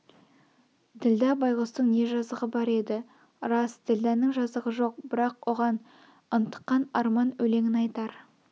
ділдә байғұстың не жазығы бар еді рас ділдәның жазығы жоқ бірақ оған ынтыққан арман өлеңін айтар